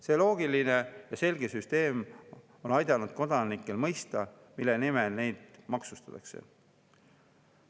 See loogiline ja selge süsteem on aidanud kodanikel mõista, mille nimel neid maksustatakse.